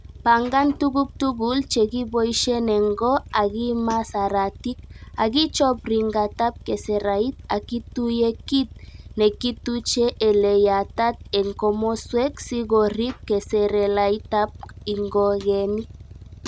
Pangan tuguk tugul che kiboishen en goo ak imaa saratik, ak ichob ringitab keserait ak ituye kit nekituche ele yataat en komoswek sikorib keserelaitab ingogeenik.